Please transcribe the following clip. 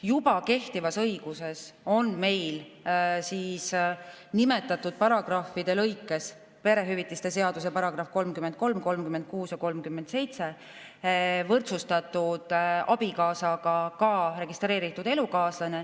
Juba kehtivas õiguses on meil nimetatud paragrahvides, perehüvitiste seaduse §‑des 33, 36 ja 37, võrdsustatud abikaasaga ka registreeritud elukaaslane.